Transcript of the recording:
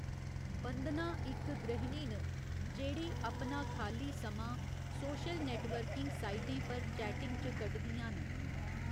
बंदना इक गृहिणी न जेह्ड़ी अपना खाल्ली समां सोशल नेटवर्किंग साइटें पर चैटिंग च कड्डदियां न।